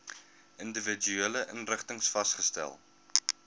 individuele inrigtings vasgestel